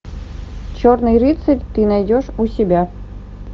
черный рыцарь ты найдешь у себя